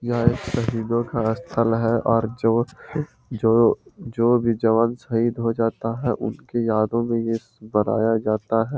यह शहीदो का स्थल है और जो जो जो भी जवान शहीद जाता है उसकी यादो में ये बनाया जाता है।